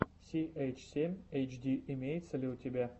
си эйч семь эйч ди имеется ли у тебя